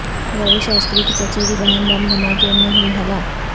روی شاستری کی چچیری بہن بم دھماکے میں ہوئی ہلاک